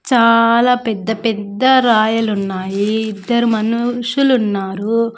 చాలా పెద్ద పెద్ద రాయలున్నాయి ఇద్దరు మనుషులున్నారు.